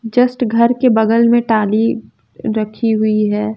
Just घर के बगल में टाली रखी हुई है।